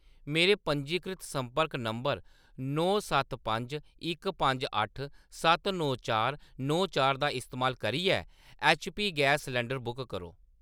मेरे पंजीकृत संपर्क नंबर नौ सत्त पंज इक पंज अट्ठ सत्त नौ चार नौ चार दा इस्तेमाल करियै ऐच्चपी गैस सलंडर बुक करो।